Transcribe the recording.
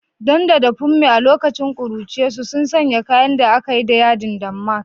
Dan da Funmi, a lokacin kuruciyarsu, sun sanya kayan da akai da yadin damask.